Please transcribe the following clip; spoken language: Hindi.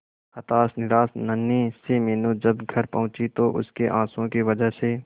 हताश निराश नन्ही सी मीनू जब घर पहुंची तो उसके आंसुओं की वजह से